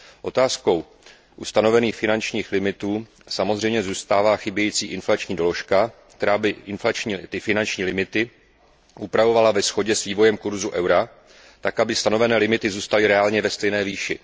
Otázkou u stanovených finančních limitů samozřejmě zůstává chybějící inflační doložka, která by finanční limity upravovala ve shodě s vývojem kurzu eura tak, aby stanové limity zůstaly reálně ve stejné výši.